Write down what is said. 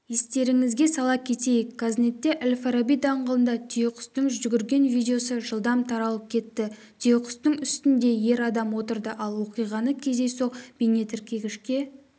естеріңізге сала кетейік қазнетте әл-фараби даңғылында түйеқұстың жүгірген видеосы жылдам таралып кетті түйеқұстың үстінде ер адам отырды ал оқиғаны кездейсоқ бейнетіркегішке